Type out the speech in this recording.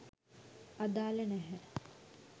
අදාළ නැහැ.